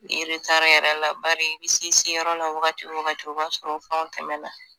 Ne yɛrɛ la bari i bɛ se i seyɔrɔ la wagati o wagati o b'a sɔrɔ fɛnw tɛmɛna